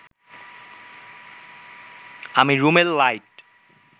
আমি রুমের লাইট